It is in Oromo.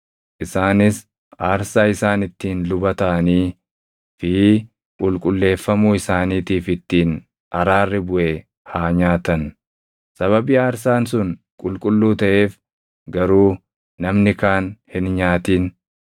Isaanis aarsaa isaan ittiin luba taʼanii fi qulqulleeffamuu isaaniitiif ittiin araarri buʼe haa nyaatan. Sababii aarsaan sun qulqulluu taʼeef garuu namni kaan hin nyaatin.